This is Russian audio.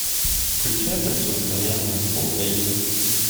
включай противостояние фулл эйч ди